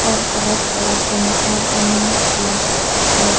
और बहोत बड़ा पंखा बना हुआ है।